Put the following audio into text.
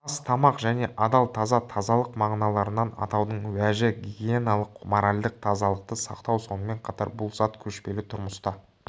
ас тамақ және адал-таза тазалық мағыналарынан атаудың уәжі гигиеналық моральдық тазалықты сақтау сонымен қатар бұл зат көшпелі тұрмыста